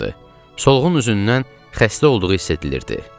Solğun üzündən xəstə olduğu hiss edilirdi.